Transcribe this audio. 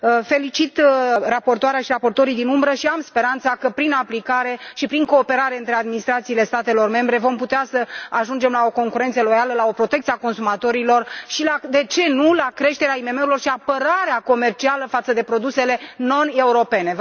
Felicit raportoarea și raportorii din umbră și am speranța că, prin aplicare și prin cooperarea între administrațiile statelor membre, vom putea să ajungem la o concurență loială, la o protecție a consumatorilor și, de ce nu, la creșterea IMM urilor și la apărarea comercială față de produsele non europene.